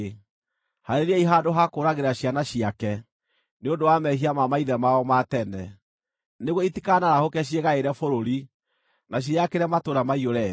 Haarĩriai handũ ha kũũragĩra ciana ciake, nĩ ũndũ wa mehia ma maithe mao ma tene; nĩguo itikanarahũke ciĩgaĩre bũrũri, na ciĩyakĩre matũũra maiyũre thĩ.